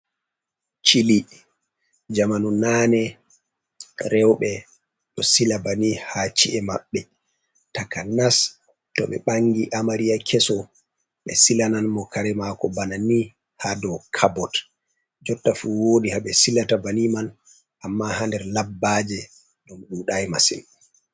Chili jamanu nane, rewɓe ɗo sila bani ha ci’e maɓɓe takanas to ɓe ɓangi amariya keso ɓe silanan mo kare mako bana ni ha do cabbot, jotta fu woodi haɓe silata bani man amma ha nder labbaje ɗum ɗuɗai masin.